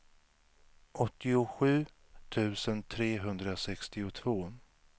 åttiosju tusen trehundrasextiotvå